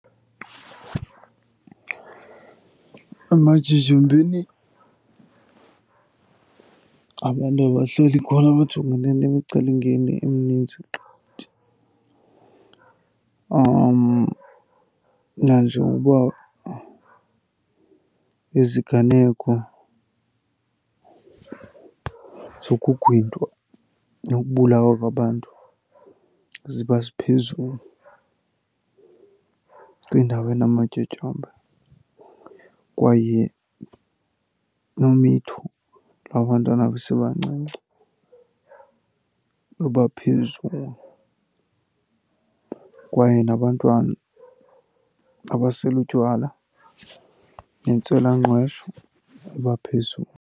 Ematyotyombeni abantu abahleli khona bajongene nemicelimngeni emininzi qgithi. Nanjengokuba iziganeko zokugwintwa nokubulawa kwabantu ziba ziphezulu kwindawo enamatyotyombe. Kwaye nomitho lwabantwana besebancinci luba phezulu, kwaye nabantwana abasela utywala nentswelangqesho iba phezulu.